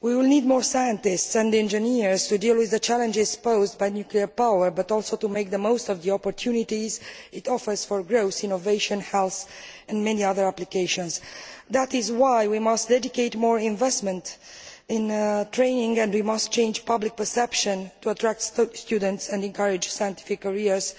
We will need more scientists and engineers to deal with the challenges posed by nuclear power, but also to make the most of the opportunities it offers for growth, innovation, health and many other applications. That is why we must dedicate more investment to training and we must change public perception to attract students and encourage scientific careers